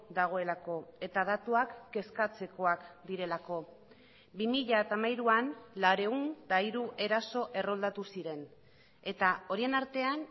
dagoelako eta datuak kezkatzekoak direlako bi mila hamairuan laurehun eta hiru eraso erroldatu ziren eta horien artean